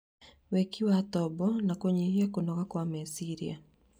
wĩki wa tombo na kũnyihia kũnoga kwa meciria.